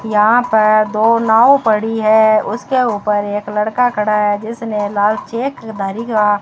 यहां पर दो नाव पड़ी है उसके ऊपर एक लड़का खड़ा है जिसने लाल चेक धारी का --